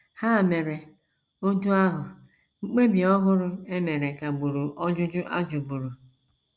Ha mere otú ahụ, mkpebi ọhụrụ e mere kagburu ọjụjụ a jụburu.